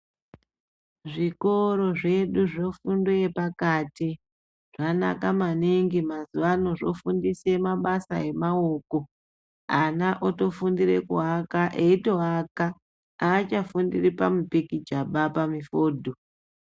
Zvikoro zvedu zvefundo yepakati zvanaka maningi mazuwa ano zvofundisa mabasa emaoko ana otofundira kuaka eitoaka aachafundori pamipikichaba pamifudho .